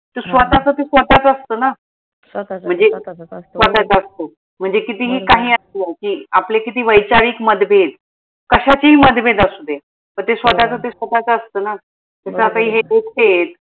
स्वतःच ते स्वतःचच असत ना स्वतःच असतो म्हनजे कितीही आपले किती वैचारिक मतभेद कशाचेही मतभेद असुदे पन ते स्वतःच ते स्वतःच च असत ना